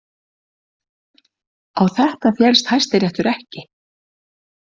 Á þetta féllst Hæstiréttur ekki